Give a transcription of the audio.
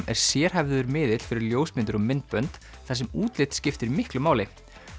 er sérhæfður miðill fyrir ljósmyndir og myndbönd þar sem útlit skiptir miklu máli